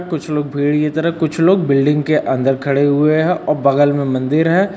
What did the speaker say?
कुछ लोग भीड़ की तरफ कुछ लोग बिल्डिंग के अन्दर खड़े हुए हैं और बगल में मन्दिर है।